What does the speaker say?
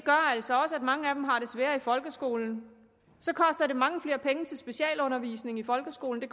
altså også at mange af dem har det sværere i folkeskolen så koster det mange flere penge til specialundervisning i folkeskolen